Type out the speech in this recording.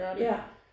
Ja